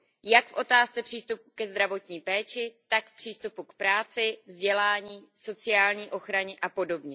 Jak v otázce přístupu ke zdravotní péči, tak v přístupu k práci, vzdělání, sociální ochraně apod.